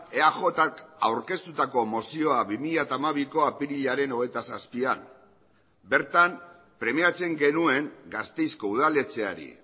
eajk aurkeztutako mozioa bi mila hamabiko apirilaren hogeita zazpian bertan premiatzen genuen gasteizko udaletxeari